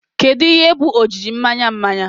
Kedu ihe bụ ojiji mmanya mmanya?